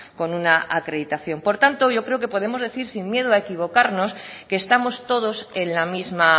con una acreditación por tanto yo creo que podemos decir sin miedo a equivocarnos que estamos todos en la misma